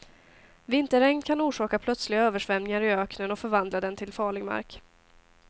Vinterregn kan orsaka plötsliga översvämningar i öknen och förvandla den till farlig mark.